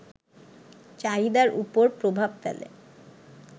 চাহিদার উপর প্রভাব ফেলে